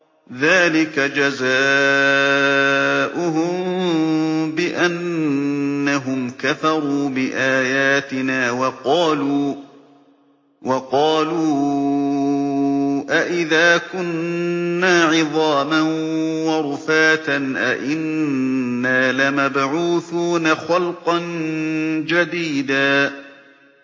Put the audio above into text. ذَٰلِكَ جَزَاؤُهُم بِأَنَّهُمْ كَفَرُوا بِآيَاتِنَا وَقَالُوا أَإِذَا كُنَّا عِظَامًا وَرُفَاتًا أَإِنَّا لَمَبْعُوثُونَ خَلْقًا جَدِيدًا